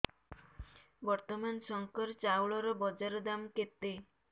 ବର୍ତ୍ତମାନ ଶଙ୍କର ଚାଉଳର ବଜାର ଦାମ୍ କେତେ